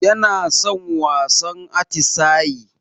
Yara na son wasan atisayi.